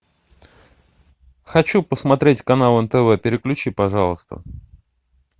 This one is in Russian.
хочу посмотреть канал нтв переключи пожалуйста